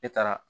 E taara